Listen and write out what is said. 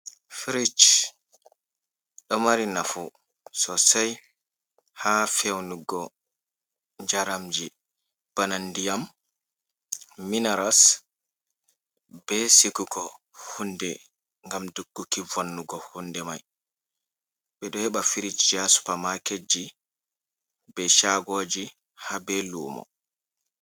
Fric ɗo mari nafu sosei ha feunugo jaramji bana ndiyam, minaras, be siguko hunde ngam dogguki vonnugo hunde mai, ɓeɗo heba firicj ha supermaket ji, be shagoji, ha be lumo.